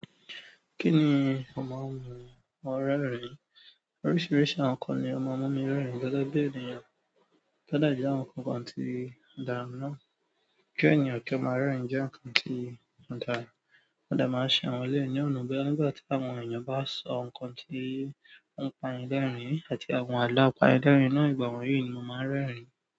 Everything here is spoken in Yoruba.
Kí ni mo máa ń mu ọ rẹ rìn? Oríṣiríṣi àwọn nkan ni ó máa ń mú mi rẹ́rìn gẹ́gẹ́ bí ènìyàn. Kí ọ̀dàjà àwọn nǹkan kan ti dà ńá. Ki ènìyàn ki o maa rẹrin jẹ nkan ti o dára ò dẹ máa ń ṣe àwọn èleyii ní ọ̀nà bọya nígbà tí àwọn ènìyàn bá sọ nǹkan tí ń pa yin l'ẹrin àti àwọn àlọ́ àpá idẹ́rìn náà. Ìgbà wọ̀nyí ni mo máa ń rẹ́rìn.